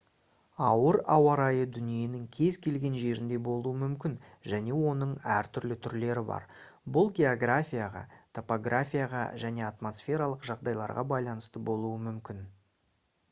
ауыр ауа райы дүниенің кез келген жерінде болуы мүмкін және оның әртүрлі түрлері бар бұл географияға топографияға және атмосфералық жағдайларға байланысты болуы мүмкін